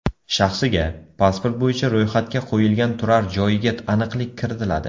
Shaxsiga, pasport bo‘yicha ro‘yxatga qo‘yilgan turar joyiga aniqlik kiritiladi.